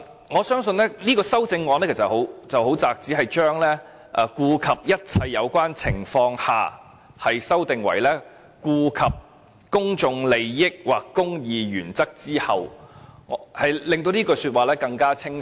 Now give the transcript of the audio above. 我相信這項修正案涉及的範圍很窄，只是將"顧及一切有關情況下"修訂為"顧及公眾利益或公義原則之後"，令條文更為清晰。